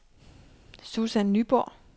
Susan Nyborg